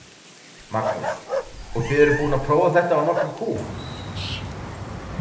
Magnús: Og þið eruð búin að prófa þetta á nokkrum kúm?